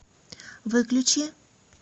выключи